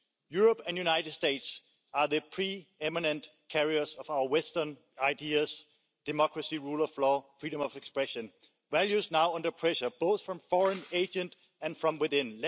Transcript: Europe and the United States are the pre eminent carriers of our Western ideas democracy, rule of law and freedom of expression values now under pressure both from foreign agents and from within.